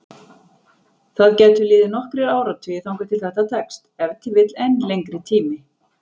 Það gætu liðið nokkrir áratugir þangað til þetta tekst, ef til vill enn lengri tími.